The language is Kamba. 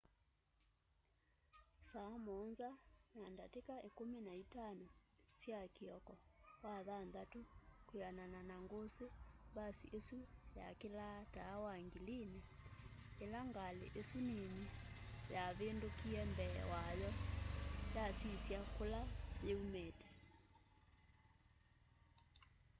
saa 1:15 sya kioko wathanthatu kwianana na ngusi mbasi isu yakilaa taa wa ngilini ila ngali isu nini yavindukiie mbee wayo yasisya kula yiiumite